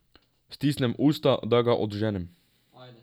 Stisnem usta, da ga odženem.